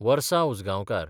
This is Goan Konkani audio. वर्सा उजगांवकर